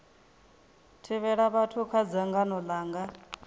thivhela vhathu kha dzangano langa